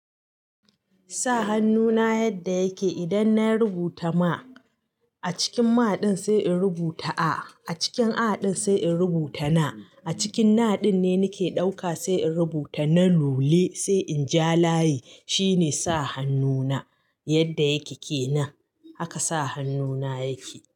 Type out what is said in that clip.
Sa hannu na yadda yake idan na rubuta ma a cikin ma ɗin sai in rubuta a, a cikin a ɗin sai in rubuta na, a cikin na ɗin ne nake ɗauka sai in rubuta na lule sai in ja layi. Shi ne sa hannu na yadda yake ke nan. Haka sa hannu na yake.